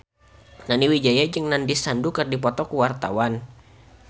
Nani Wijaya jeung Nandish Sandhu keur dipoto ku wartawan